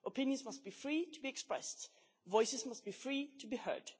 Opinions must be free to be expressed, voices must be free to be heard.